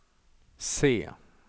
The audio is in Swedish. C